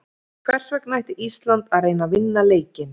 Hvers vegna ætti Ísland að reyna að vinna leikinn?